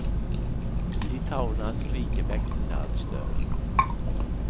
Litauernas rike växte sig allt större.